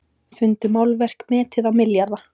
Fundu málverk metið á milljarða